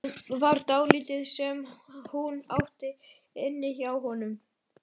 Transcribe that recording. Það var dálítið sem hún átti inni hjá honum.